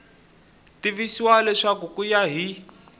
tivisiwa leswaku ku ya hi